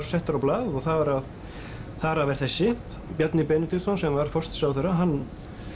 settar á blað þar af þar af er þessi Bjarni Benediktsson sem var forsætisráðherra hann